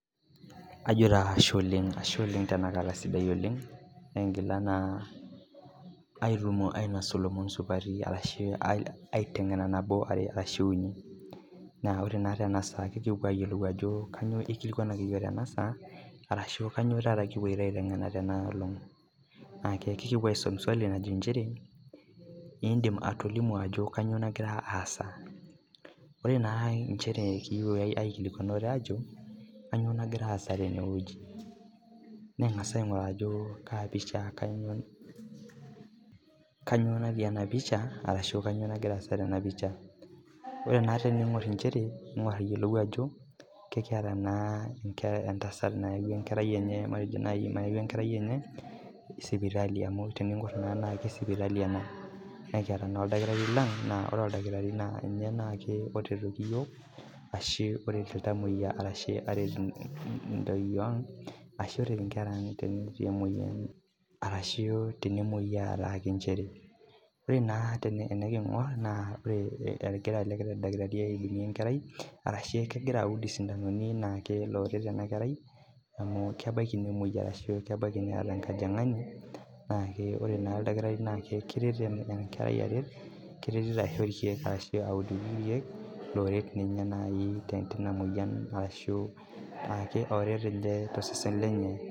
ore naa tening'or Ajo ekiata entasat nayawua enkerai enye sipitali amu tening'or sipitali ena nikiata naa oldakitarii naa ninye oret ilntamuoyia neret enkera ang tenemuoyia ore naa teniking'or egira ele dakitari aud sindanoni naa loret enkerai amu kebaiki nemuoi ashu kebaiki Neeta enkojingani naa ore naa oldakitarii naa kereito aisho irkeek oret ninye ashu oret ninye too sesen lenye